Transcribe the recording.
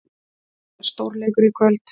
Þetta er stórleikur í kvöld.